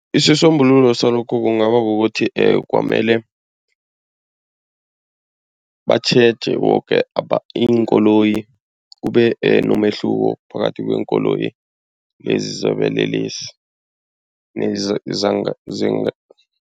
Isisombululo salokho kungaba kukuthi kwamele batjheje woke iinkoloyi kube nomehluko phakathi kweenkoloyi lezi zobulelesi lezi